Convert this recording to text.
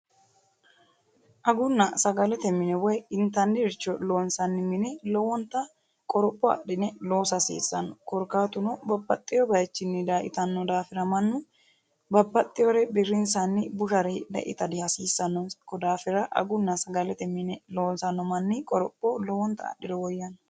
Aguna sagalete mine woyi intaniricho loonsanni mini lowonta qoropho adhine loosa hasiissano. korkaatuno babbaxewoo bayiichini dayee itanno daafira mannu babbaxewoore birrinsanni bushare hidhe ita dihasiissanonsa kodaafira aguna sagalete mine loosano manni qoropho lowonta adhiro woyyanno.